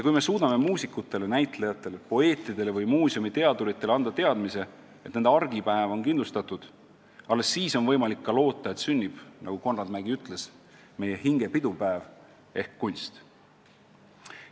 Kui me suudame muusikutele, näitlejatele, poeetidele ja muuseumiteaduritele anda teadmise, et nende argipäev on kindlustatud, alles siis on alust loota, et sünnib, nagu Konrad Mägi ütles, meie hinge pidupäev ehk kunst.